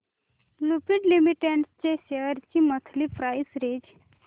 Lupin limited shares ची monthly price range